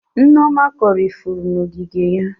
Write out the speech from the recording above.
Nneoma kọrọ ifuru n'ogige ya.